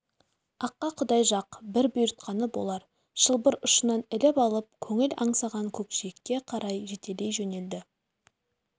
аққа құдай жақ бір бұйыртқаны болар шылбыр ұшынан іліп алып көңіл аңсаған көкжиекке қарай жетелей жөнелді